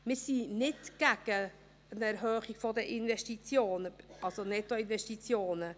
Wir sind nicht gegen eine Erhöhung der Investitionen, also der Nettoinvestitionen.